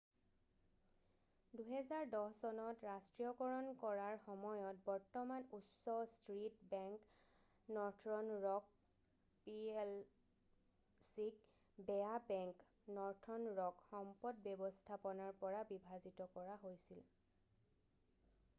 "২০১০ত ৰাষ্ট্ৰীয়কৰণ কৰাৰ সময়ত বৰ্তমান উচ্চ ষ্ট্ৰীট বেংক নৰ্থৰন ৰক পিএলচিক "বেয়া বেংক" নৰ্থৰন ৰক সম্পদ ব্যৱস্থাপনাৰ পৰা বিভাজিত কৰা হৈছিল ।""